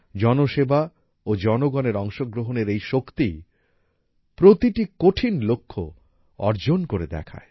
জনসেবা ও জনগণের অংশগ্রহণের এই শক্তি প্রতিটি কঠিন লক্ষ্য অর্জন করে দেখায়